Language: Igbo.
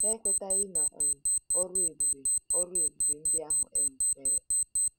Ha ekwetaghị na um ọrụ ebube ọrụ ebube ndị ahụ um mere.